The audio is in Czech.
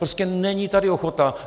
Prostě není tady ochota.